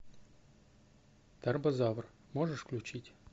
тарбозавр можешь включить